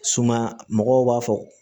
Suma mɔgɔw b'a fɔ